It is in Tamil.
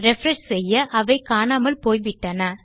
ரிஃப்ரெஷ் செய்ய அவை காணாமல் போய்விட்டன